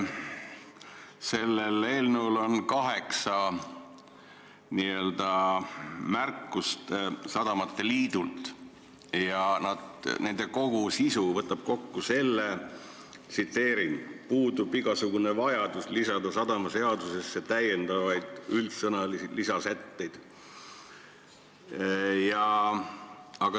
Selle eelnõu kohta on kaheksa märkust sadamate liidult ja nende sisu võib kokku võtta seisukohaga, et puudub igasugune vajadus lisada sadamaseadusesse täiendavaid üldsõnalisi lisasätteid.